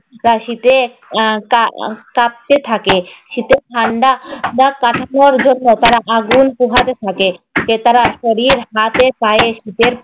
প্রায় শীতে আহ কা~ কাঁপতে থাকে। শীতে ঠান্ডা বা তারা আগুন পোহাতে। যে তারা শরীর হাতে পায়ে শীতের